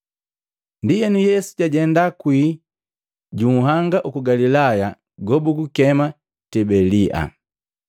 Ndienu Yesu jajenda kwii ju nhanga uku Galilaya gobugukema Tibelia.